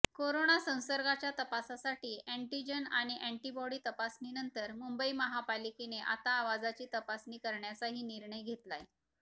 corona संसर्गाच्या तपासासाठी antigen आणि अँटिबॉडी तपासणीनंतर मुंबई महापालिकेने आता आवाजाची तपासणी करण्याचाही निर्णय घेतलाय